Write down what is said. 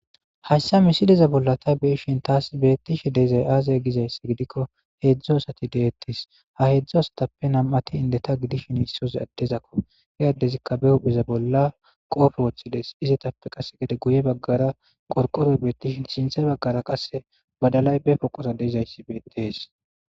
hayssa misideza bolla ta beishin taas beettishe deizay aazaya gizayssi gidikko heedzdzu asati deettis ha heedzdzo asatappe nam7ati inde ta gidishin iissoza addezakko he addezikka be hupheza bolla qoofe woththides izetappe qasse gede guye baggara qorqoroy beettishin shinthe baggara qasse badalay be poqora deyzayssi beettees